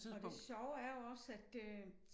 Og det sjove er jo også at øh